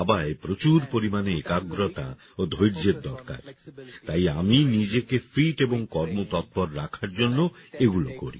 এখন দাবায় প্রচুর পরিমাণে একাগ্রতা ও ধৈর্যের দরকার তাই আমি নিজেকে ফিট এবং কর্মতৎপর রাখার জন্য এগুলি করি